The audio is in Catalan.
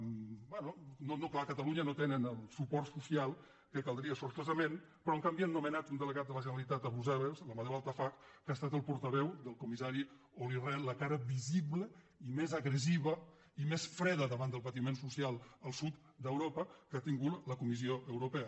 bé no clar a catalunya no tenen el suport social que caldria sortosament però en canvi han nomenat un delegat de la generalitat a brussel·les l’amadeu altafaj que ha estat el portaveu del comissari olli rehn la cara visible i més agressiva i més freda davant del patiment social al sud d’euro·pa que ha tingut la comissió europea